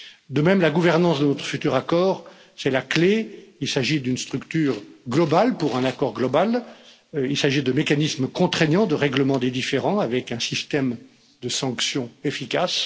De même, la gouvernance de notre futur accord, c'est la clé il s'agit d'une structure globale pour un accord global, il s'agit de mécanismes contraignants de règlement des différends avec un système de sanctions efficace.